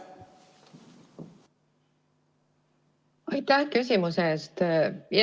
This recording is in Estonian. Aitäh küsimuse eest!